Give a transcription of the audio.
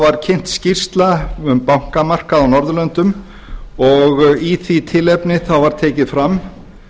var kynnt skýrsla um bankamarkað á norðurlöndum og í því tilefni var tekið fram